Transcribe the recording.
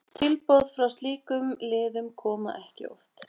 Tilboð frá slíkum liðum koma ekki of oft.